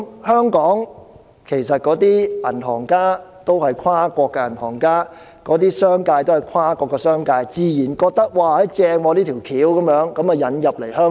香港的銀行家也是跨國銀行家，商界也是跨國商界，他們自然認為這方法好，所以便引入香港。